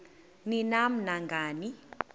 ni nam nangani